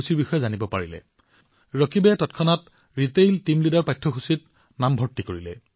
অকণো সময় বিলম্ব নকৰি ৰকিবে ৰিটেইল টিম লীডাৰ কোৰ্চ ত নাম ভৰ্তি কৰিলে